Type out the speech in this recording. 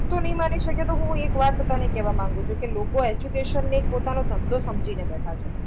તું નહીં માની શકે તો હું એક વાત તને કહેવા માગું છું કે લોકો education ને એક પોતાનો ધંધો સમજીને બેઠા છે.